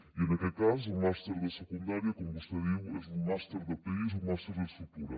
i en aquest cas el màster de secundària com vostè diu és un màster de país un màster d’estructura